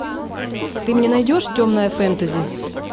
ты мне найдешь темное фэнтези